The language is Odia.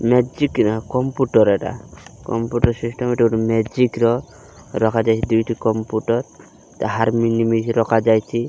ମେଜିକ ନା କମ୍ପୁଟର ଏଇଟା କମ୍ପୁଟର ସିଷ୍ଟମ ଏଟା ଗୁଟେ ମେଜିକର ରଖାଯାଏ ଦୁଇଟି କମ୍ପୁଟର ରଖାଯାଇଚି।